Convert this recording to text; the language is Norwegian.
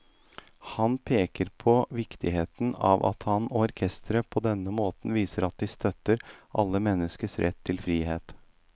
Han peker på viktigheten av at han og orkesteret på denne måten viser at de støtter alle menneskers rett til frihet.